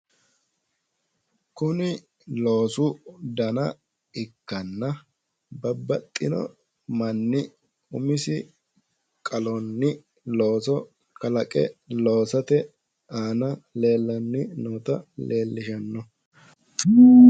Kuni loosu dana ikkanna babbaxino manni umisinni qale(looso kalaqe) loosate aana leellanni noota leellishanno.